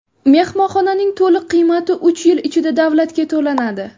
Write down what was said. Mehmonxonaning to‘liq qiymati uch yil ichida davlatga to‘lanadi.